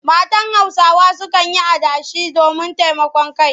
Matan Hausawa sukan yi adashi domin taimakon kai.